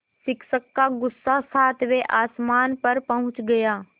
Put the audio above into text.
शिक्षक का गुस्सा सातवें आसमान पर पहुँच गया